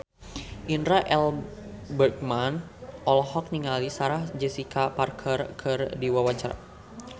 Indra L. Bruggman olohok ningali Sarah Jessica Parker keur diwawancara